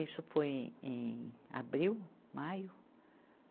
Isso foi em abril, maio.